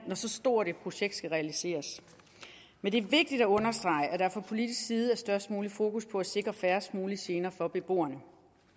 så stort et projekt skal realiseres men det er vigtigt at understrege at der fra politisk side er størst mulig fokus på at sikre færrest mulige gener for beboerne